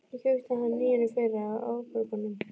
Ég keypti hann nýjan í fyrra, á afborgunum.